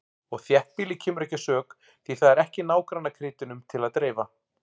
Og þéttbýlið kemur ekki að sök, því það er ekki nágrannakrytinum til að dreifa.